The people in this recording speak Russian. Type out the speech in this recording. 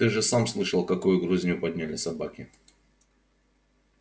ты же сам слышал какую грызню подняли собаки